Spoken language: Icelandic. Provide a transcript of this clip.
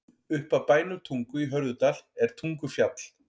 Upp af bænum Tungu í Hörðudal er Tungufjall.